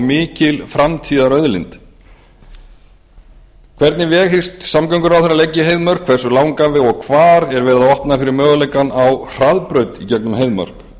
mikil framtíðarauðlind hvernig veg hyggst samgönguráðherra ætla að leggja í heiðmörk hversu langan veg og hvar er verið að opna fyrir möguleikann á hraðbraut í gegnum heiðmörk